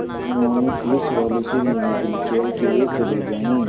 उन्होंने पुलिसवालों से निवेदन किया कि वे चले जाएँ